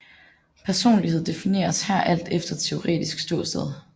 Personlighed defineres her alt efter teoretisk ståsted